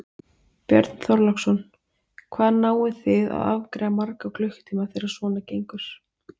Björn Þorláksson: Hvað náið þið að afgreiða marga á klukkutíma þegar svona gengur?